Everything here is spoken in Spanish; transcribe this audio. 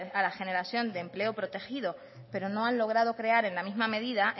a la generación de empleo protegido pero no han logrado crear en la misma medida